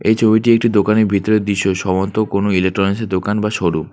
এই ছবিটি একটি দোকানের ভিতরের দৃশ্য সম্ভবত কোনো ইলেকট্রনিকসের দোকান বা শোরুম ।